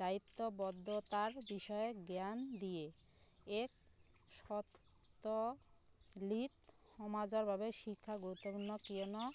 দায়িত্ব বদ্ধতাৰ বিষয়ে জ্ঞান দিয়ে এক শব্দ লিত সমাজৰ বাবে শিক্ষা গুৰুত্বপূৰ্ণ কিয়নো